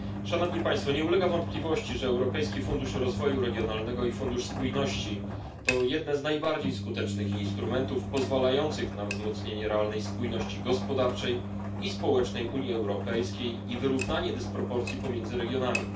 Nie ulega wątpliwości, że Europejski Fundusz Rozwoju Regionalnego i Fundusz Spójności to jedne z najbardziej skutecznych instrumentów pozwalających na wzmocnienie realnej spójności gospodarczej i społecznej w Unii Europejskiej i wyrównanie dysproporcji pomiędzy regionami.